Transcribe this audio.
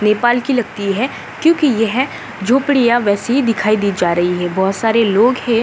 नेपाल की लगती है क्यूंकि येह झोपड़िया वैसे ही दिखाई जा रही हैं बहोत सारे लोग हैं।